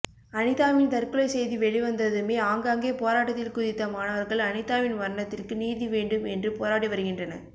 அனிதாவின் தற்கொலை செய்தி வெளிவந்ததுமே ஆங்காங்கே போராட்டத்தில் குதித்த மாணவர்கள் அனிதாவின் மரணத்திற்கு நீதிவேண்டும் என்று போராடி வருகின்றனர்